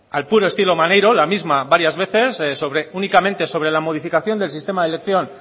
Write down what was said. al puro estilo maneiro la misma varias veces sobre únicamente sobre la modificación del sistema de elección